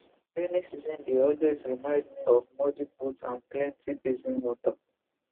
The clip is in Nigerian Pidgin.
rainy season dey always remind me of muddy boots and plenty basin water